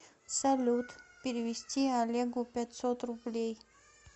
салют перевести олегу пятьсот рублей